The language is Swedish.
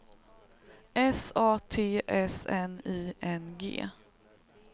S A T S N I N G